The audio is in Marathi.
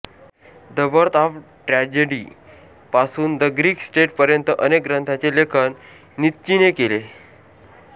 द बर्थ ऑफ ट्रॅजेडी पासून द ग्रीक स्टेट पर्यंत अनेक ग्रंथांचे लेखन नित्चीने केले